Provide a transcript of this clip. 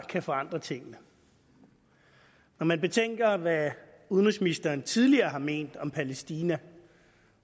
kan forandre tingene når man betænker hvad udenrigsministeren tidligere har ment om palæstina